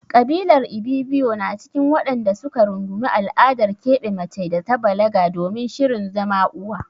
Ƙabilar Ibibiyo na cikin waɗanda su ka rungumi al'adar keɓe mace da ta balaga domin shirin zama uwa.